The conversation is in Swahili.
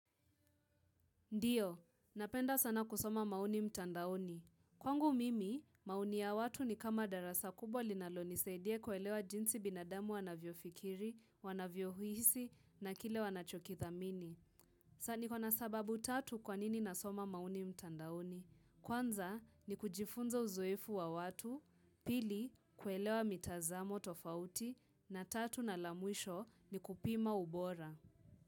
Ndiyo, napenda sana kusoma maoni mtandaoni. Kwangu mimi, maoni ya watu ni kama darasa kubwa linalo nisaidia kuelewa jinsi binadamu wanavyo fikiri, wanavyo hisi na kile wanachokidhamini. Sani kwa nasababu tatu kwanini nasoma maonii mtandaoni. Kwanza ni kujifunza uzoefu wa watu, pili kuelewa mitazamo tofauti, na tatu na la mwisho ni kupima ubora.